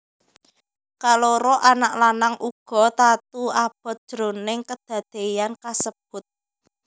Kaloro anak lanang uga tatu abot jroning kedadéyan kasebut